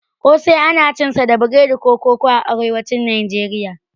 ƙosai ana cinsa da biredi ko koko a arewacin Nijeriya.